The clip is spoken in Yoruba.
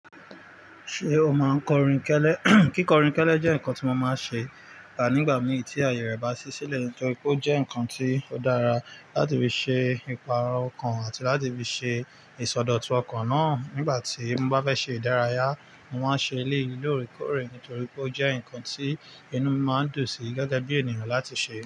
Ṣé o máa ń kọrin kẹ́lẹ́? Kíkọrin kẹ́lẹ́ jẹ́ nǹkan tí mo máa ń ṣe nigba mi tí ààyè rẹ bá sí sílẹ̀ nítorí pé ó jẹ́ nǹkan tí ó dára láti fi ṣe ìpààrọ̀ ọkàn àti láti fi ṣe ìsọdọ̀tun ọkàn náà nígbà tí mo bá fẹ́ ṣe ìdárayá. Mo máa ń ṣe eleyi lóòrèkóòrè nítorí pé ó jẹ́ nǹkan tí inú mi máa ń dùn sí gẹ́gẹ́ bí ènìyàn láti ṣe.